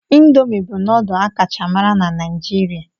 Indomi bụ nudul a kacha mara na Naijiria.